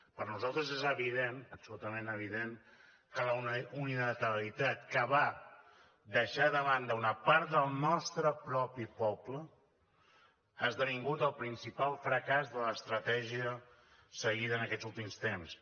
per nosaltres és evident absolutament evident que la unilateralitat que va deixar de banda una part del nostre propi poble ha esdevingut el principal fracàs de l’estratègia seguida en aquests últims temps